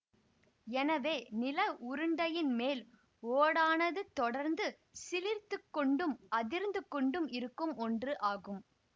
எனவே நில உருண்டையின் மேல் ஓடானது தொடர்ந்து சிலிர்த்துக் கொண்டும் அதிர்ந்து கொண்டும் இருக்கும் ஒன்று ஆகும்